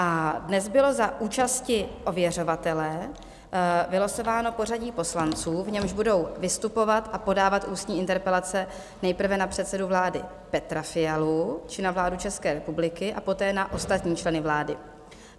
A dnes bylo za účasti ověřovatele vylosováno pořadí poslanců, v němž budou vystupovat a podávat ústní interpelace nejprve na předsedu vlády Petra Fialu či na vládu České republiky a poté na ostatní členy vlády.